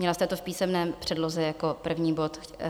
Měla jste to v písemné předloze jako první bod.